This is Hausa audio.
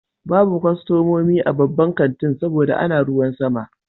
Babu kwastomomi a babban kanti saboda ana ruwan sama.